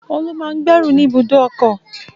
Olú máa ń gbẹ́rù ni ibùdó ọkọ̀.